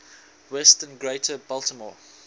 western greater baltimore